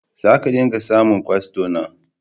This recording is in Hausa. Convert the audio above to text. Za ka dinga samun kwastona.